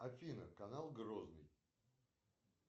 афина канал грозный